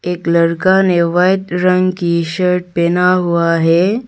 एक लड़का ने वाइट रंग की शर्ट पहना हुआ है।